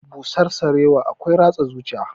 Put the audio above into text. Busar sarewa akwai ratsa zuciya